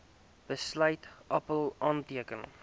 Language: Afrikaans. besluit appèl aanteken